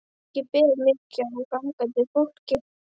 Ekki ber mikið á gangandi fólki.